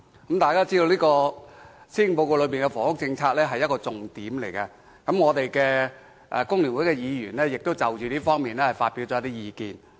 大家知道，房屋政策是施政報告中的重點之一，工聯會議員亦就這方面發表了一些意見。